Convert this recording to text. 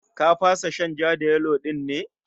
Ka fasa shan ja-da-yelo din ne?